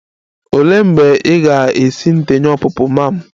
Olee mgbe ị ga-esi ndenye ọpụpụ ma'am?